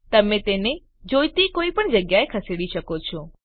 તમે તેને જોઈતી કોઈપણ જગ્યાએ ખસેડી શકો છો